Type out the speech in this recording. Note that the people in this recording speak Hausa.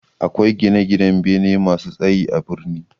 Akwai gine-ginan bene masu tsaye a birni.